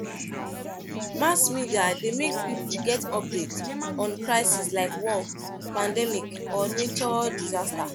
Mass media de make pipo get update on crisis like war, pandemic or nature disaster